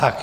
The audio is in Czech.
Tak.